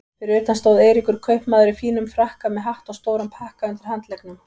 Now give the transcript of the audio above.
Fyrir utan stóð Eiríkur kaupmaður í fínum frakka með hatt og stóran pakka undir handleggnum.